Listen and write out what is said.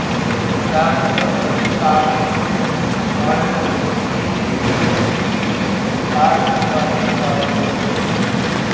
దాంతో ఆమెను వాళ్ళు వీధి వీధి తిప్పి పాటలు పాడిస్తారు